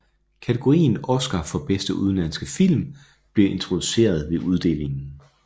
Kategorien oscar for bedste udenlandske film blev introduceret ved uddelingen